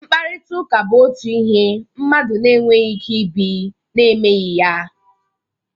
Mkparịriịtaụka bụ otu ihe mmadụ na-enweghi ike ibi na-emeghi ya.